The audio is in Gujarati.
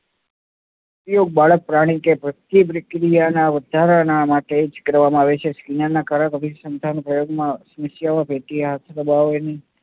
સ્ત્રીઓ, બાળક, પ્રાણી કે પ્રત્યેક પ્રક્રિયાના વધારા માટે જ કરવામાં આવે છે. વિજ્ઞાનના અભિસંધાન ના પ્રયોગમાં